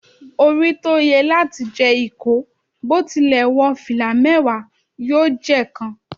Ori to ye lati je iko, bo tile wo fila mewa, yoo je kan.